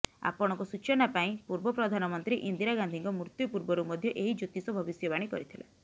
ଆପଣଙ୍କ ସୂଚନା ପାଇଁ ପୂର୍ବ ପ୍ରଧାନମନ୍ତ୍ରୀ ଇନ୍ଦିରା ଗାନ୍ଧୀଙ୍କ ମୃତ୍ୟୁ ପୂର୍ବରୁ ମଧ୍ୟ ଏହି ଜ୍ୟୋତିଷ ଭବିଷ୍ୟବାଣୀ କରିଥିଲା